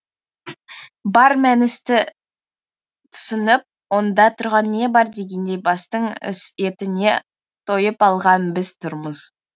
бар мәністі түсініп онда тұрған не бар дегендей бастың етіне тойып алған біз тұрмыз